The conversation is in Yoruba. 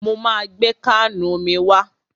Mo ma gbé káànù omi wá.